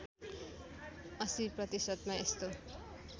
८० प्रतिशतमा यस्तो